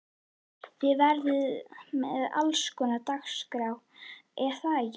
Þið verðið með allskonar dagskrá er það ekki?